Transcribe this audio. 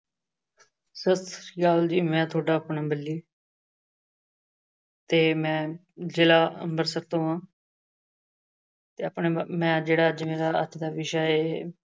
ਸਤਿ ਸ੍ਰੀ ਅਕਾਲ ਜੀ। ਮੈਂ ਤੁਹਾਡਾ ਆਪਣਾ ਬੱਲੀ ਤੇ ਮੈਂ ਜ਼ਿਲ੍ਹਾ ਅੰਮ੍ਰਿਤਸਰ ਤੋਂ ਹਾਂ ਤੇ ਆਪਣਾਆਹ ਮੈਂ ਜਿਹੜਾ ਅੱਜ ਦਾ ਵਿਸ਼ਾ ਹੈ